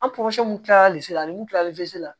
An kilalen nu kilali la